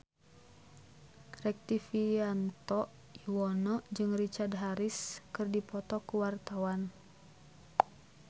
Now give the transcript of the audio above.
Rektivianto Yoewono jeung Richard Harris keur dipoto ku wartawan